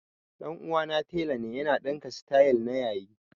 Ɗan uwana tela ne ya na ɗinka sityl na yayi